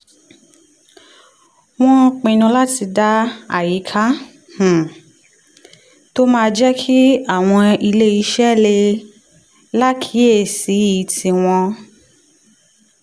wọ́n pinnu láti dá àyíká um tó máa jẹ́ kí àwọn ilé iṣẹ́ lè láásìkí tí wọ́n